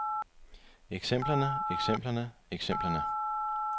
eksemplerne eksemplerne eksemplerne